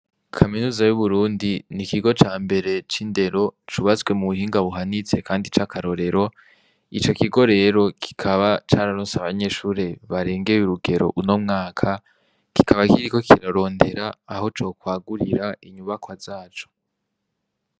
Kaminuza y'Uburundi ni ikigo cambre c'indero cubatswe mu buhinga buhanitse kandi c'akarorero, ico kigo rero kikaba cararonse abanyeshure barengeye urugero uno mwaka, kikaba kiriko kirarondera aho cokwagurira inyubakwa zaco.